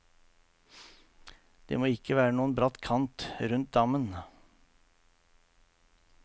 Det må ikke være noen bratt kant rundt dammen.